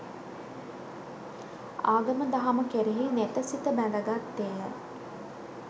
ආගම දහම කෙරෙහි නෙත සිත බැද ගත්තේ ය.